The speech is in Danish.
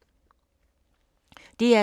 DR2